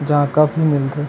जहां कप मिल थे।